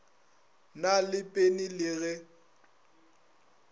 na le pene le ge